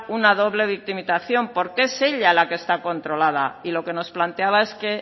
una doble victimización porque es ella la que está controlada y lo que nos planteaba es que